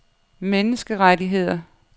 menneskerettigheder